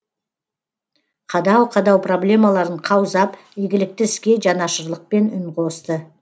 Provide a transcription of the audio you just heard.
қадау қадау проблемаларын қаузап игілікті іске жанашырлықпен үн қосты